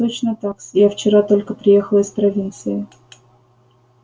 точно так-с я вчера только приехала из провинции